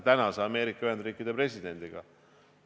Seda ka Ameerika Ühendriikide presidendi puhul.